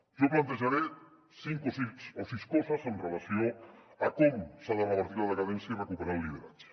jo plantejaré cinc o sis coses amb relació a com s’ha de revertir la decadència i recuperar el lideratge